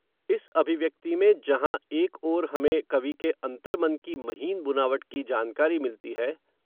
इस अभिव्यक्ति में जहाँ, एक ओर हमें, कवि के अन्तर्मन की महीन बुनावट की जानकारी मिलती है